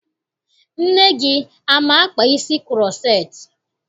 Nne gị ama-akpa isi kuroceti?